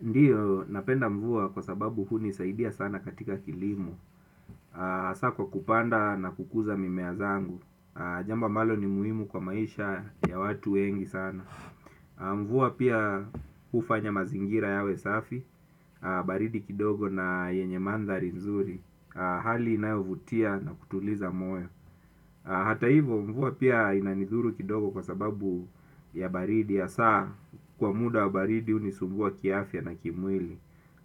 Ndio, napenda mvua kwa sababu hunisaidia sana katika kilimo, saa kwa kupanda na kukuza mimea zangu, jambo ambalo ni muhimu kwa maisha ya watu wengi sana. Mvua pia kufanya mazingira yawe safi, baridi kidogo na yenye mandhari nzuri, hali inayovutia na kutuliza moyo. Hata hivo mvua pia inanidhuru kidogo kwa sababu ya baridi ya saa kwa muda wa baridi hunisumbua kiafya na kimwili.